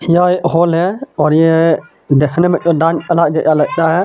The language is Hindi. यह एक होल है और यह देखने में तो डां क्ला जेआ लगता है.